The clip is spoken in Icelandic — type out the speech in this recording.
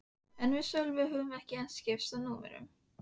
En við Sölvi höfðum ekki enn skipst á númerum.